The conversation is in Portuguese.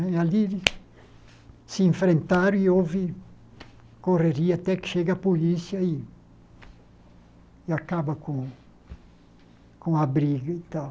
Né ali se enfrentaram e houve correria até que chega a polícia e e acaba com com a briga e tal.